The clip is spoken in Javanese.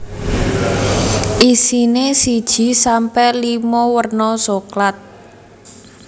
Isine siji sampe limo werna soklat